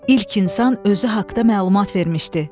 İlk insan özü haqda məlumat vermişdi.